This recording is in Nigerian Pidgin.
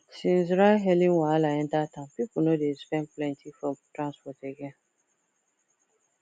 since ridehailing wahala enter town people no dey spend plenty for transport again